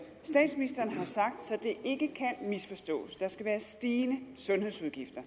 ikke kan misforstås der skal være stigende sundhedsudgifter